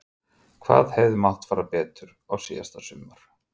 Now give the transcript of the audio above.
Hvað hefði mátt betur fara síðasta sumar?